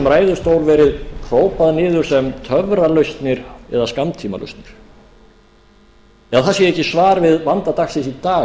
ræðustól verið hrópað niður sem töfralausnir eða skammtímalausnir að það sé ekki svar við vanda dagsins í dag það sé langtímameðferð en